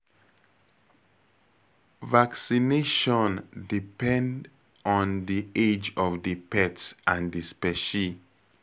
Vaccination depend on di age of di pet and di specie